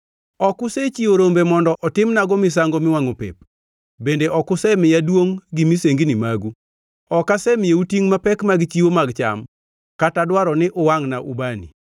Ok usechiwo rombe mondo otimnago misango miwangʼo pep, bende ok usemiya duongʼ gi misengini magu. Ok asemiyou tingʼ mapek mag chiwo mag cham, kata dwaro ni uwangʼna ubani.